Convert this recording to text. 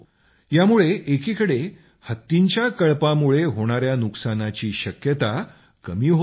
यामुळे एकीकडे हत्तींच्या कळपामुळे होणाया नुकसानाची शक्यता कमी होत आहे